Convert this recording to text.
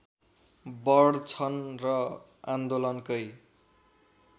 बढ्छन् र आन्दोलनकै